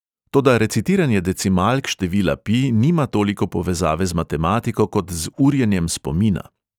"Toda recitiranje decimalk števila pi nima toliko povezave z matematiko kot z urjenjem spomina."